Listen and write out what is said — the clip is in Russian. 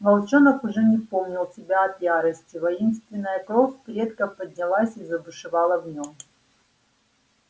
волчонок уже не помнил себя от ярости воинственная кровь предков поднялась и забушевала в нем